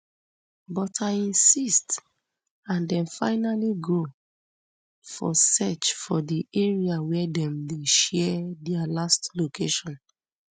but i insist and dem finally go for search for di area wia dem share dia last location